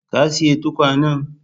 Ka siyi tukwanan?